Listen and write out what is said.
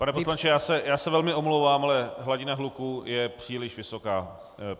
Pane poslanče, já se velmi omlouvám, ale hladina hluku je příliš vysoká.